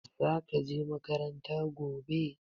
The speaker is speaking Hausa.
Zaka je makaranta gobe